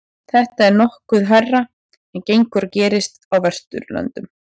þetta er nokkuð hærra en gengur og gerist á vesturlöndum